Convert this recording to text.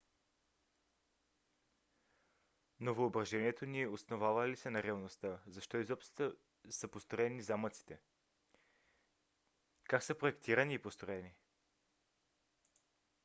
но въображението ни основава ли се на реалността? защо изобщо са построени замъците? как са проектирани и построени?